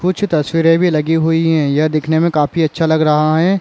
कुछ तस्वीरे भी लगी हुई है यह दिखने मे काफी अच्छा लग रहा है ।